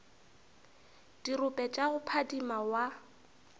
dirope tša go phadima wa